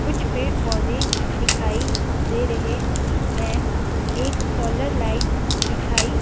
कुछ पेड़-पौधे दिखाई दे रहे हैं एक सोलर लाइट दिखाई--